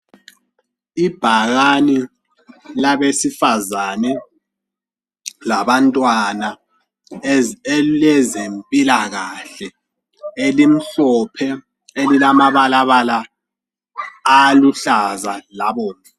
Ibhakane labesifazane labantwana elilezempilakahle elimhlophe elilamabalaba aluhlaza labomvu.